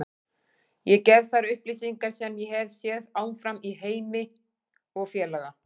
Ég gef þær upplýsingar sem ég hef séð áfram á Heimi og félaga.